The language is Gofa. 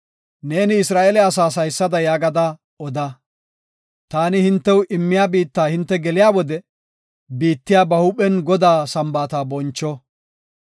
Neeni Isra7eele asaas haysada yaagada oda; taani hintew immiya biitta hinte geliya wode biittiya ba huuphen Godaa Sambaata boncho.